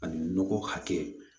Ani nɔgɔ hakɛ